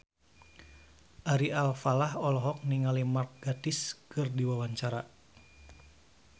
Ari Alfalah olohok ningali Mark Gatiss keur diwawancara